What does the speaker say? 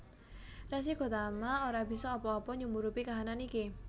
Resi Gotama ora bisa apa apa nyumurupi kahanan iki